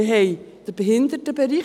Wir haben den Behindertenbereich.